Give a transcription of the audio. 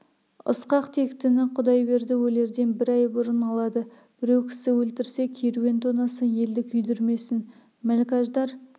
ысқақ тектіні құдайберді өлерден бір ай бұрын алады біреу кісі өлтірсе керуен тонаса елді күйдірмесін мәлкаждар